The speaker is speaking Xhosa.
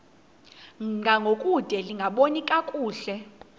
ngangokude lingaboni kakuhle